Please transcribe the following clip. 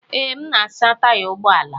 Ee, m na-asa taya ụgbọ ala.